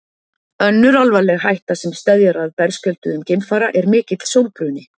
önnur alvarleg hætta sem steðjar að berskjölduðum geimfara er mikill sólbruni